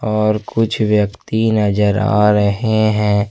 और कुछ व्यक्ति नजर आ रहे हैं।